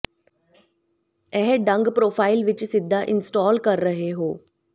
ਇਹ ਢੰਗ ਪ੍ਰੋਫ਼ਾਈਲ ਵਿੱਚ ਸਿੱਧਾ ਇੰਸਟਾਲ ਕਰ ਰਹੇ ਹੋ